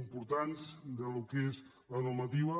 importants del que és la normativa